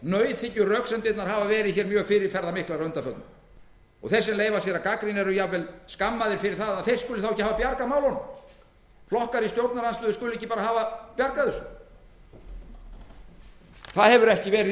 gera nauðhyggjuröksemdirnar hafa verið mjög fyrirferðarmiklar að undanförnu þeir sem leyfa sér að gagnrýna eru jafnvel skammaðir fyrir það að þeir skuli þá ekki hafa bjargað málunum flokkar í stjórnarandstöðu skuli ekki bara hafa bjargað þessu það hefur ekki verið í